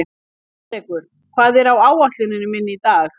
Alrekur, hvað er á áætluninni minni í dag?